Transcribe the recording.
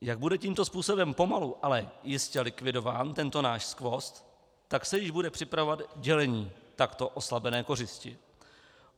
Jak bude tímto způsobem pomalu, ale jistě likvidován tento náš skvost, tak se již bude připravovat dělení takto oslabené kořisti.